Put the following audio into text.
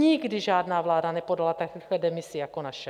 Nikdy žádná vláda nepodala tak rychle demisi jako naše.